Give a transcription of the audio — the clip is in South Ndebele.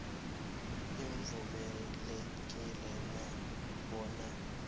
livumelekile na bona